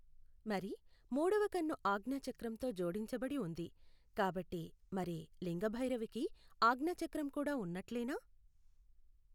మరి మూడవ కన్ను ఆజ్ఞచక్రంతో జోడించబడి ఉంది కాబట్టి మరి లింగ భైరవికి ఆజ్ఞచక్రం కూడా ఉన్నట్లేనా?